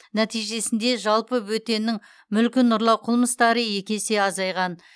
нәтижесінде жалпы бөтеннің мүлкін ұрлау қылмыстары еке есе азайған